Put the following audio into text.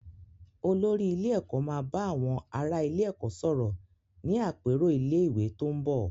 Olórí ilé ẹ̀kọ́ máa ba àwọn ará ilé-ẹ̀kọ́ sọ̀rọ̀ ní àpérò ilé-ìwé tó ń bò.